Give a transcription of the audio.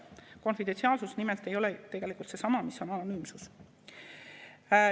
Konfidentsiaalsus nimelt ei ole tegelikult seesama, mis on anonüümsus.